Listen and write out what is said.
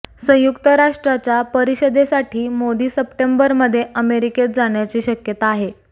संयुक्त राष्ट्रच्या परिषदेसाठी मोदी सप्टेंबरमध्ये अमेरिकेत जाण्याची शक्यता आहे